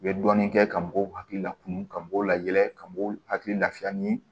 U bɛ dɔɔnin kɛ ka mɔgɔw hakili la kumu ka mɔgɔw layɛlɛn ka mɔgɔw hakili lafiya ni